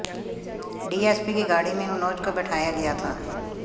DSP की गाड़ी में मनोज को बैठाया गया था